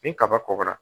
Ni kaba kɔgɔra